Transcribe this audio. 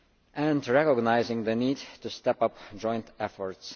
Goals and recognising the need to step up joint efforts.